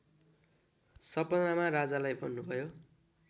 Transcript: सपनामा राजालाई भन्नुभयो